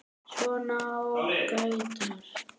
Svona ágætar.